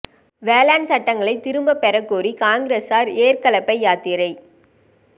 வேளாண் சட்டங்களை திரும்ப பெறக் கோரி காங்கிரஸாா் ஏா்க் கலப்பை யாத்திரை